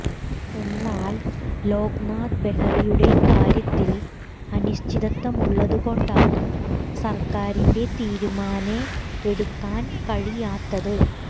എന്നാൽ ലോക് നാഥ് ബെഹ്റയുടെ കാര്യത്തിൽ അനിശ്ചിതത്വമുള്ളതു കൊണ്ടാണ് സർക്കാരിന് തീരുമാനെ എടുക്കാൻ കഴിയാത്തത്